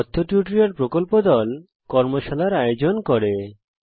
কথ্য টিউটোরিয়াল প্রকল্প দল কথ্য টিউটোরিয়াল ব্যবহার করে কর্মশালার ও আয়োজন করে